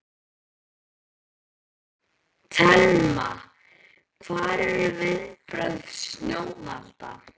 Telma: Hver eru viðbrögð stjórnvalda?